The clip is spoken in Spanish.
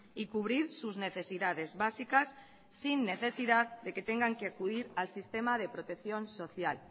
y cubrir sus necesidades básicas sin necesidad de que tengan que acudir al sistema de protección social